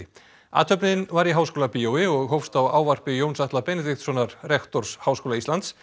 athöfnin var í Háskólabíói og hófst á ávarpi Jóns Atla Benediktssonar rektors Háskóla Íslands